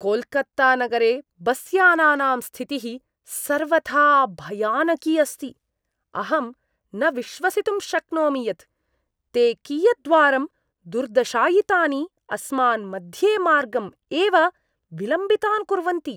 कोल्कत्तानगरे बस्यानानां स्थितिः सर्वथा भयानकी अस्ति, अहं न विश्वसितुं शक्नोमि यत् ते कियद्वारं दुर्दशायितानि अस्मान् मध्येमार्गम् एव विलम्बितान् कुर्वन्ति।